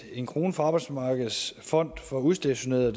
en krone fra arbejdsmarkedets fond for udstationerede